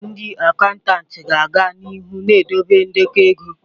Ndị akantati ga-aga n'ihu na-edobe ndekọ ego.